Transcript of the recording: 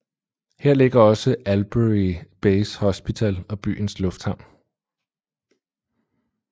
Her ligger også Albury Base Hospital og byens lufthavn